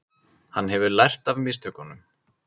Hann hefur lært af mistökunum.